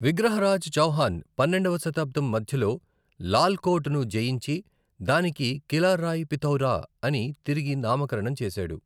విగ్రహరాజ్ చౌహాన్ పన్నెండవ శతాబ్దం మధ్యలో లాల్ కోట్ ను జయించి దానికి కిలా రాయ్ పిథౌరా అని తిరిగి నామకరణం చేశాడు.